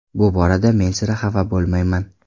Bu borada men sira xafa bo‘lmayman.